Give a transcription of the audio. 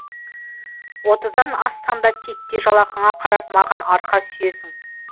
отыздан ассаң да титтей жалақыңа қарап маған арқа сүйейсің